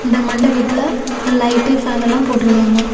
இந்த மண்டபத்துல light fan எல்லா போட்டு இருக்காங்க.